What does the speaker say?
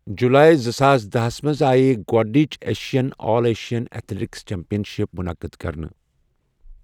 جولایی زٕ ساس دہس منٛز آیہ گۄڈٕنچ ایشین آل ایشین ایتھلیٹکسِ چیمپین شپ منعقد کرنہٕ۔